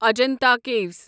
Ajanta caves